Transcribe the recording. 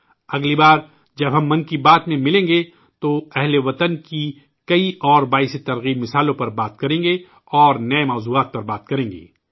اگلی بار جب ہم 'من کی بات' میں ملیں گے، تو ہم وطنوں کے کئی اور حوصلہ افزا مثالوں پر بات کریں گے اور نئے موضوعات پر بات چیت کریں گے